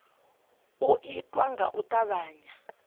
u itwa nga u tavhanya